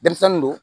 Denmisɛnnin don